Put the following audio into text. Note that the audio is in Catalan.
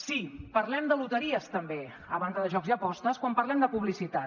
sí parlem de loteries també a banda de jocs i apostes quan parlem de publicitat